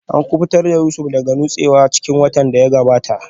An kubutar da Yusuf daga nutsewa a cikin ruwa a watan da ya gabata